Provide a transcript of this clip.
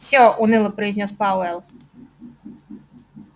всё уныло произнёс пауэлл